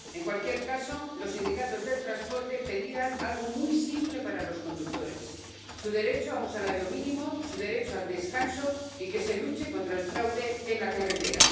En cualquier caso, los sindicatos del transporte pedían algo muy simple para los conductores su derecho a un salario mínimo, su derecho al descanso, y que se luche contra el fraude en la carretera.